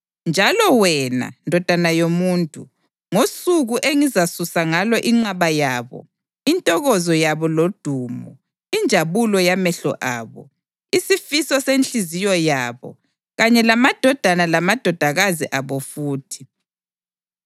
Njalo wena, ndodana yomuntu, ngosuku engizasusa ngalo inqaba yabo, intokozo yabo lodumo, injabulo yamehlo abo, isifiso senhliziyo yabo, kanye lamadodana lamadodakazi abo futhi,